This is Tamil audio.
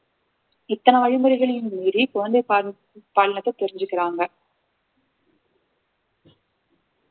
இத்தனை வழிமுறைகளையும் மீறி குழந்தை பா~பாலினத்தை தெரிஞ்சுக்கறாங்க